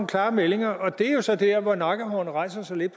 klare meldinger og det er jo så der hvor mine nakkehår rejser sig lidt